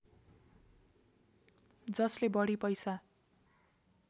जसले बढी पैसा